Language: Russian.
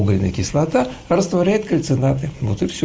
угольная кислота растворяет кальцинаты вот и все